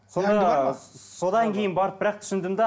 содан кейін барып бірақ түсіндім де